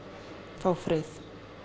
fá frið